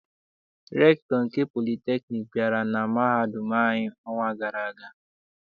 Rektọ nke politekniik bịara na mahadum anyị n'ọnwa gara aga.